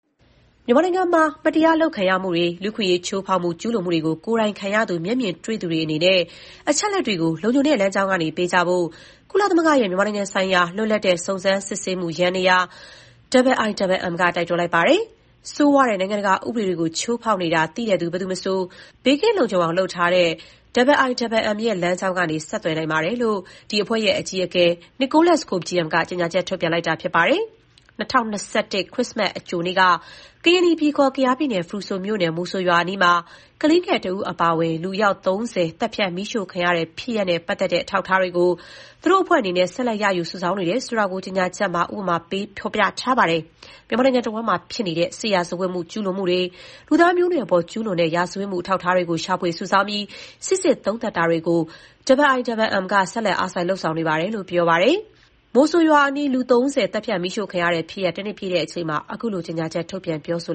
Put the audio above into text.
မြန်မာနိုင်ငံမှာ မတရားလုပ်ခံရမှုတွေ၊ လူ့အခွင့်အရေးချိုးဖောက်ကျူးလွန်မှုတွေကို ကိုယ်တိုင်ခံရသူ၊ မျက်မြင်တွေ့သူတွေအနေနဲ့ အချက်အလက်တွေကို လုံခြုံတဲ့လမ်းကြောင်းကနေ ပေးဖို့ကြဖို့ ကုလသမဂ္ဂရဲ့ မြန်မာဆိုင်ရာ လွတ်လပ်တဲ့စုံစမ်းစစ်ဆေးမှုယန္တရား IIMM ကတိုက်တွန်းလိုက်ပါတယ်။ နိုင်ငံတကာဥပဒေတွေကို ဆိုးဆိုးဝါးဝါးချိုးဖောက်နေတာ သိသူ ဘယ်သူမဆို ဘေးကင်းလုံခြုံအောင်လုပ်ထားတဲ့ IIMM ရဲ့လမ်းကြောင်းကနေ ဆက်သွယ်နိုင်ပါတယ်လို့ IIMM အကြီးအကဲ Nicholas Koumjian က ကြေညာချက်ထုတ်ပြန်လိုက်တာဖြစ်ပါတယ်။ ၂၀၂၁ ခရစ္စမတ်အကြိုနေ့က ကရင်နီပြည်ခေါ် ကယားပြည်နယ် ဖရူဆိုမြို့နယ်၊ မိုဆိုရွာအနီးမှာ ကလေးငယ်တဦးအပါအဝင် လူအယောက် ၃၀ သတ်ဖြတ် မီးရှို့ခံရတဲ့ဖြစ်ရပ်နဲ့ပတ်သက်တဲ့အထောက်အထားတွေကို သူတို့ IIMM အနေနဲ့ ဆက်လက်ရယူစုဆောင်းနေတယ်ဆိုတာကို ကြေညာချက်မှာ ဥပမာပေး ပြောထားပါတယ်။ မြန်မာနိုင်ငံတဝန်းမှာဖြစ်နေတဲ့ စစ်ရာဇဝတ်ကျူးလွန်မှုတွေ၊ လူသားမျိုးနွယ်အပေါ် ကျူးလွန်တဲ့ ရာဇဝတ်မှု အထောက်အထားတွေကို ရှာဖွေစုဆောင်းပြီး စိစစ်သုံးသပ်တာတွေကို IIMM ကဆက်လက် အားစိုက် လုပ်ဆောင်ပါတယ်လို့ပြောပါတယ်။ ၂၀၂၁ ဒီဇင်ဘာလ ၂၄ ရက်နေ့က မိုဆိုရွာအနီး လူ ၃၀ သတ်ဖြတ် မီးရှို့ခံခဲ့ရတဲ့ ဖြစ်ရပ် တနှစ်ပြည့်ချိန်မှာ ခုလို ကြေညာချက် ထုတ်ပြန် ပြောဆို